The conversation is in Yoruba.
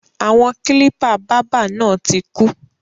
Àwọn kílípà báábà náà tí kú.